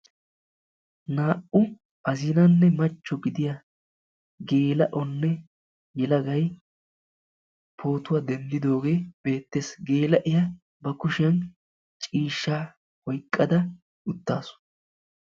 Naa"u azinanne machcho gidiyaa gelaa"onne yelagay pootuwa denddidooge beettees. Gella''iya ba kushiyaan ciishsha oyqqada uttaasu.